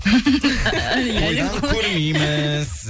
тойдан көрмейміз